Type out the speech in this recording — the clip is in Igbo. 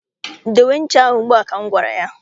Dowe ncha ahụ ugbu a! ka m gwara ya.